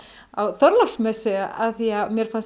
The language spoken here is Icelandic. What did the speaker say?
á Þorláksmessu af því að mér fannst